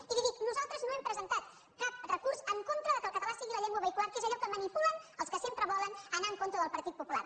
i li dic nosaltres no hem presentat cap recurs en contra que el català sigui la llengua vehicular que és allò que manipulen els que sempre volen anar en contra del partit popular